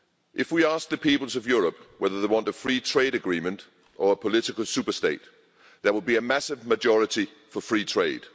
If we asked the peoples of Europe whether they want a free trade agreement or a political superstate, there would be a massive majority for free trade.